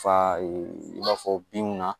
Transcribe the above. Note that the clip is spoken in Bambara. Fa i b'a fɔ binw na